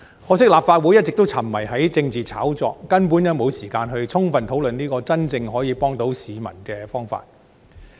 可惜立法會一直沉迷於政治炒作，根本沒時間充分討論這個可以真正幫助市民的方法。